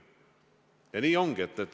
Ja nii ongi.